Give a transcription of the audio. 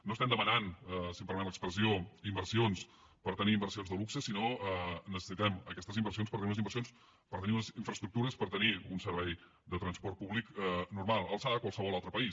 no estem demanant si em permet l’expressió inversions per tenir inversions de luxe sinó que necessitem aquestes inversions per tenir unes inversions per tenir unes infraestructures per tenir un servei de transport públic normal a l’alçada de qualsevol altre país